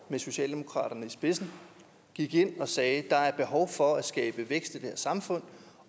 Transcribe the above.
med socialdemokratiet i spidsen gik ind og sagde at der er behov for at skabe vækst i det her samfund